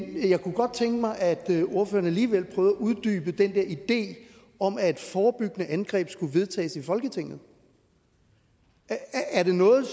jeg kunne godt tænke mig at ordføreren alligevel prøvede at uddybe den der idé om at forebyggende angreb skulle vedtages i folketinget er det noget